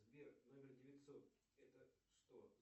сбер номер девятьсот это что